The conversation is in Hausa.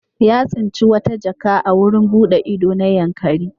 Ya tsinci wata jaka a wurin buɗe ido na Yankari.